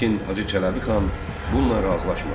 Lakin Hacı Çələbixan bununla razılaşmadı.